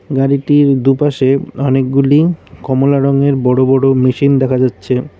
গাড়িটির দুপাশে অনেকগুলি কমলা রঙের বড়ো বড়ো মেশিন দেখা যাচ্ছে।